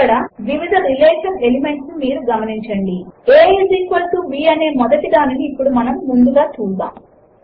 ఇక్కడ వివిధ relation elements ను మీరు గమనించండి a is equal to b అనే మొదటి దానిని ఇప్పుడు ముందుగా చూద్దాము